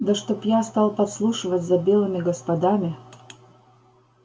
да чтоб я стал подслушивать за белыми господами